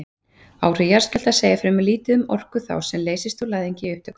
Áhrif jarðskjálfta segja fremur lítið um orku þá sem leysist úr læðingi í upptökum.